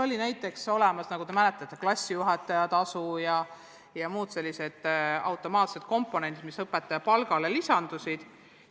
Aga enne olid olemas, nagu te mäletate, klassijuhataja tasu ja muud automaatsed komponendid, mis õpetaja palgale lisandusid.